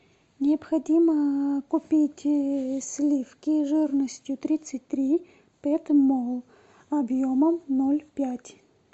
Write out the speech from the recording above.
необходимо купить сливки жирностью тридцать три петмол объемом ноль пять